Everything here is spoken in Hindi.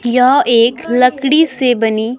यह एक लकड़ी से बनी--